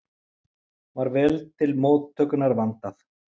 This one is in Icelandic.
Var vel til móttökunnar vandað.